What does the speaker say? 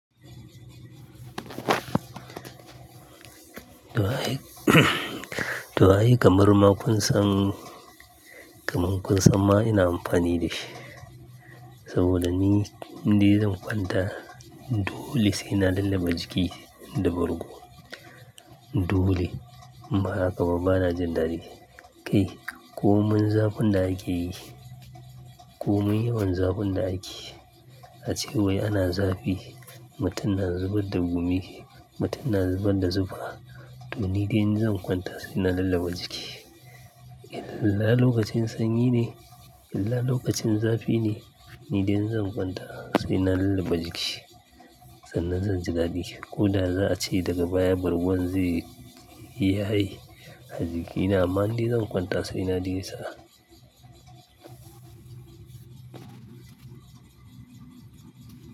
To ai, to ai ka marma kun san, kamar kun san ma ina amfani da shi. Saboda ni, ni zan kwanta dole sai na lulluɓa jiki da bargo. Dole, inba haka ba bana jin dadi. Kai komai zafin da ake yi, komai yawan zafin da ake yi. A cewai ana zafi, mutum na zubar da gumi, mutum na zubar da zufa. To ni dai inzan kwanta sai na lulluɓa jiki. Illa lokacin sanyi ne, illa lokacin zafi ne, ni dai inzan kwanta sai na lulluɓa jiki. Sannan zan ji dadi. Ko da za a ce daga baya bargon zai yaye Ni amma inzan kwanta sai na ji nisa.